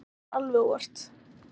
Þetta var alveg óvart.